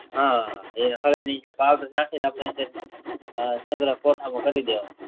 હ હવે નીચે પાવડર નાખીને આપડે સગ્રહ કોઠા માં કરી દેવાનો